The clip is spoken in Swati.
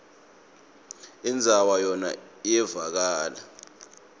indzaba yona iyevakala